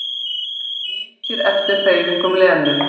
Líkir eftir hreyfingum Lenu.